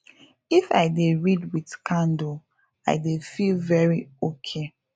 if i dey read with candle i dey feel very ok